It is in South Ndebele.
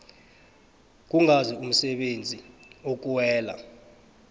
kungazi umsebenzi okuwela